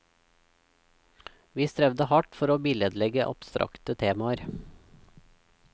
Vi strevde hardt for å billedlegge abstrakte temaer.